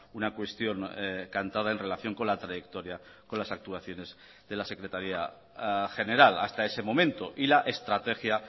una cuestión cantada en relación con la trayectoria con las actuaciones de la secretaría general hasta ese momento y la estrategia